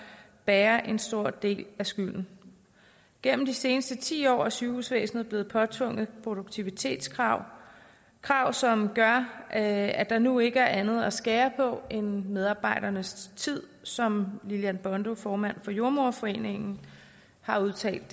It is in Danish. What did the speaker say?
bærer en stor del af skylden gennem de seneste ti år er sygehusvæsenet blevet påtvunget produktivitetskrav krav som gør at at der nu ikke er andet at skære på end medarbejdernes tid som lillian bondo formand for jordemoderforeningen har udtalt